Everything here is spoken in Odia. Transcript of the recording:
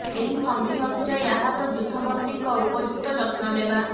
ଏହି ସନ୍ଧି ଅନୁଯାୟୀ ଆହତ ଯୁଦ୍ଧବନ୍ଦୀଙ୍କ ଉପଯୁକ୍ତ ଯତ୍ନ ନେବା